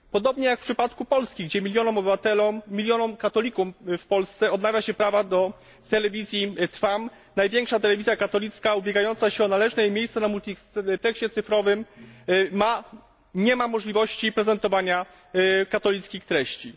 Podobnie jak w przypadku Polski, gdzie milionom obywateli, katolików, w Polsce odmawia się prawa do Telewizji Trwam największa telewizja katolicka ubiegająca się o należne jest miejsce na multipleksie cyfrowym nie ma możliwości prezentowania katolickich treści.